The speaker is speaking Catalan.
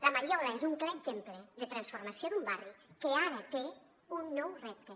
la mariola és un clar exemple de transformació d’un barri que ara té un nou repte